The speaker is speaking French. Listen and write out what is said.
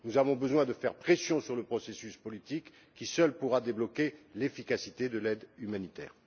Nous avons besoin de faire pression sur le processus politique qui seul pourra débloquer l'efficacité de l'aide humanitaire.